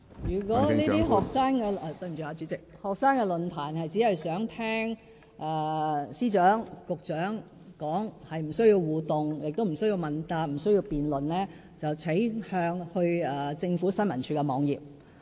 如果這些學生論壇只是想聽司長和局長發言，而不需要互動、亦不需要問答、不需要辯論，請大家瀏覽政府新聞處網頁。